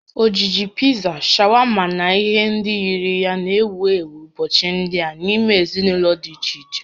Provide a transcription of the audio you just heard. Ojiji Pizza, shawama na ihe ndị yiri ya na-ewu ewu ụbọchị ndị a n'ime ezinụlọ dị iche iche